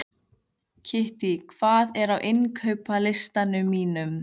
Kittý, hvað er á innkaupalistanum mínum?